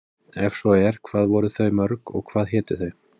Ef svo er, hvað voru þau mörg og hvað hétu þau?